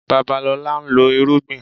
Babalọlá ń lọ́ irúgbìn